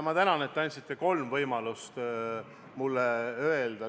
Ma tänan, et te andsite mulle võimaluse öelda kolm punkti.